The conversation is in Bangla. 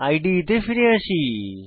ইদে তে ফিরে আসি